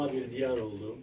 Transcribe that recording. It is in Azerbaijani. Doğma bir diyar oldu.